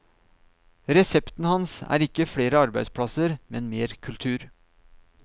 Resepten hans er ikke flere arbeidsplasser, men mer kultur.